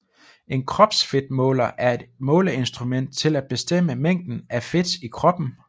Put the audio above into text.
En kropsfedtmåler er et måleinstrument til at bestemme mængden af fedt i kroppen